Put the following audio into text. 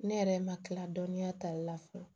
Ne yɛrɛ ma kila dɔɔninya tali la fɔlɔ